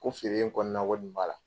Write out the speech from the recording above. Ko feere in kɔnɔna ko nin b'a la.